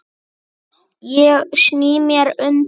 Ég sný mér undan.